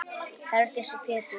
Herdís og Pétur.